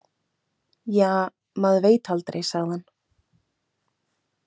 Ja, maður veit aldrei, sagði hann.